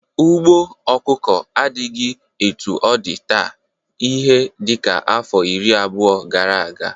Ugbo ọkụkọ adịghị etu ọ dị taa ihe dịka afọ iri abụo gara aga.